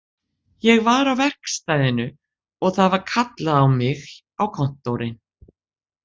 Ég var á verkstæðinu og það var kallað á mig á kontórinn